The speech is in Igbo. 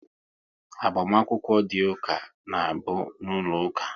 Agbamakwụkwọ dị ụka na bụ n'ụlọ ụka